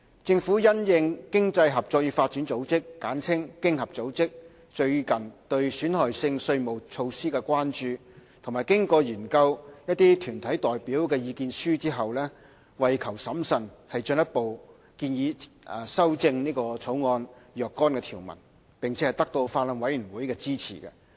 政府因應經濟合作與發展組織最近對損害性稅務措施的關注，亦研究了團體代表的意見書，為求審慎，進一步建議修正《條例草案》若干條文，並得到法案委員會的支持。